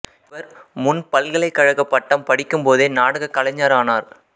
இவர் முன் பல்கலைக்கழக பட்டம் படிக்கும் போதே நாடக கலைஞரானார்